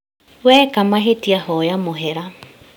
Weeka mahĩtĩa hoya mũhera